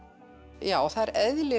já það er eðli